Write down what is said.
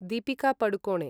Deepika Padukone